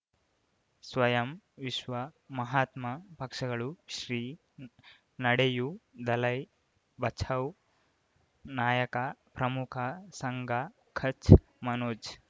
ಸ್ವಯಂ ವಿಶ್ವ ಮಹಾತ್ಮ ಪಕ್ಷಗಳು ಶ್ರೀ ನಡೆಯೂ ದಲೈ ಬಚೌ ನಾಯಕ ಪ್ರಮುಖ ಸಂಘ ಖಚ್ ಮನೋಜ್